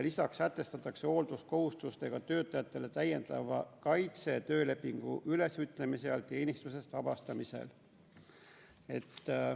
Lisaks sätestatakse hoolduskohustustega töötajatele täiendav kaitse töölepingu ülesütlemisel või teenistusest vabastamisel.